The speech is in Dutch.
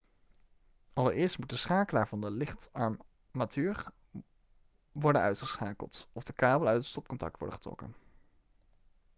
allereerst moet de schakelaar van de lichtarmatuur worden uitgeschakeld of de kabel uit het stopcontact worden getrokken